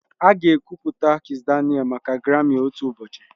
Aga ekwupụta Kizz Daniel maka Grami otu ụbọchị